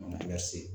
An ka kilasi